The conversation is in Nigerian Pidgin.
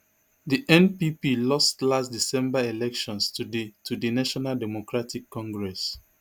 di npp lost last december elections to di to di national democratic congress